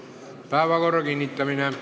Päevakorra kinnitamine.